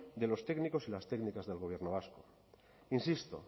de los técnicos y las técnicas del gobierno vasco insisto